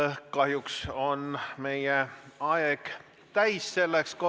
Internet ja kogu infotehnoloogia on valdkond, mis ei arene mitte aastate või kuudega, vaid, julgen öelda, tundide ja minutitega.